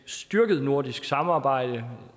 styrket nordisk samarbejde